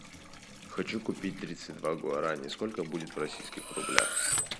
хочу купить тридцать два гуарани сколько будет в российских рублях